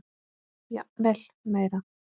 Jafnvel meira.